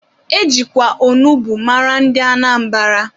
E jikwa onugbu mara ndị Anambra.